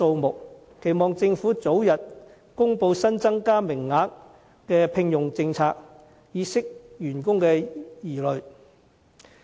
我期望政府早日公布新增加名額的聘用政策，以釋除員工疑慮。